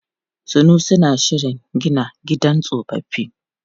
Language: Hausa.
Sanusi na shirin gina gidan tsofaffi.